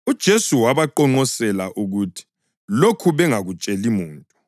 UJesu wabaqonqosela ukuthi lokhu bangakutsheli muntu.